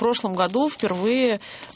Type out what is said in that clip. прошлом году впервые